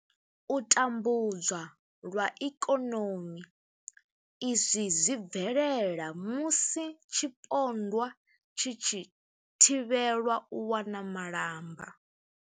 U tambudzwa lwa ikonomi, Izwi zwi bvelela musi tshipondwa tshi tshi thivhelwa u wana malamba.